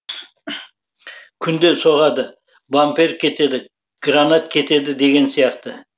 күнде соғады бампер кетеді гранат кетеді деген сияқты